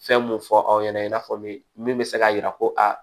Fɛn mun fɔ aw ɲɛna i n'a fɔ min min bɛ se k'a jira ko aa